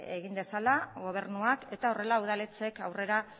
egin dezala gobernuak eta horrela udaletxeek aurrera